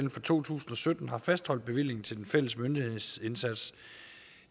to tusind og sytten har fastholdt bevillingen til den fælles myndighedsindsats